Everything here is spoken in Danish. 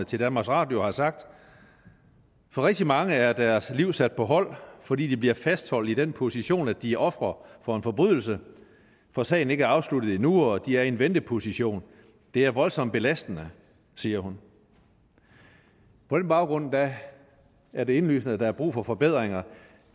til danmarks radio har sagt for rigtig mange er deres liv sat på hold fordi de bliver fastholdt i den position at de er ofre for en forbrydelse hvor sagen ikke er afsluttet endnu og de er i en venteposition det er voldsomt belastende siger hun på den baggrund er det indlysende at der er brug for forbedringer